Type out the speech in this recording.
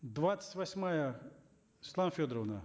двадцать восьмая светлана федоровна